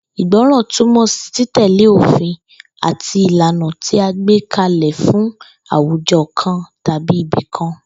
Ìgbó̩ran túmò̩ sí títè̩lé òfin àti ìlànà tí a gbé ka lè̩ fún àwujo̩ kan tàbí ibi kan